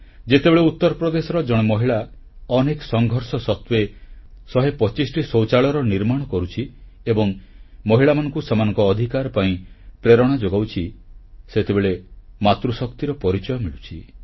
ଯେତେବେଳେ ଉତ୍ତରପ୍ରଦେଶର ଜଣେ ମହିଳା ଅନେକ ସଂଘର୍ଷ ସତ୍ତ୍ୱେ 125ଟି ଶୌଚାଳୟର ନିର୍ମାଣ କରୁଛି ଏବଂ ମହିଳାମାନଙ୍କୁ ସେମାନଙ୍କ ଅଧିକାର ପାଇଁ ପ୍ରେରଣା ଯୋଗାଉଛି ସେତେବେଳେ ମାତୃଶକ୍ତିର ପରିଚୟ ମିଳୁଛି